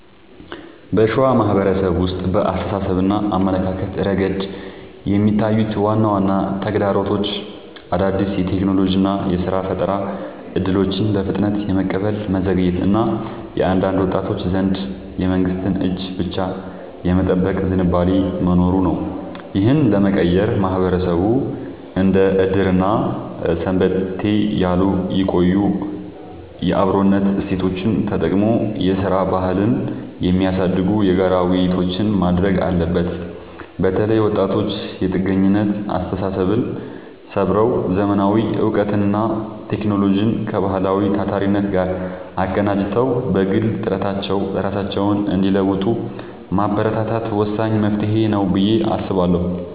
በሸዋ ማህበረሰብ ውስጥ በአስተሳሰብና አመለካከት ረገድ የሚታዩት ዋና ዋና ተግዳሮቶች አዳዲስ የቴክኖሎጂና የሥራ ፈጠራ እድሎችን በፍጥነት የመቀበል መዘግየት እና በአንዳንድ ወጣቶች ዘንድ የመንግስትን እጅ ብቻ የመጠበቅ ዝንባሌ መኖሩ ነው። ይህንን ለመቀየር ማህበረሰቡ እንደ ዕድርና ሰንበቴ ያሉ የቆዩ የአብሮነት እሴቶቹን ተጠቅሞ የሥራ ባህልን የሚያሳድጉ የጋራ ውይይቶችን ማድረግ አለበት። በተለይ ወጣቶች የጥገኝነት አስተሳሰብን ሰብረው: ዘመናዊ እውቀትንና ቴክኖሎጂን ከባህላዊው ታታሪነት ጋር አቀናጅተው በግል ጥረታቸው ራሳቸውን እንዲለውጡ ማበረታታት ወሳኝ መፍትሄ ነው ብዬ አስባለሁ።